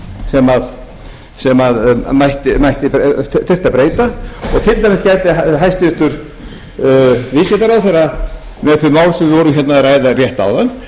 þyrfti að breyta og til dæmis hefði hæstvirtur viðskiptaráðherra með þau mál sem við vorum að ræða rétt áðan